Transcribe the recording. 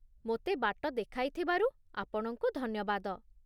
ମୋତେ ବାଟ ଦେଖାଇଥିବାରୁ ଆପଣଙ୍କୁ ଧନ୍ୟବାଦ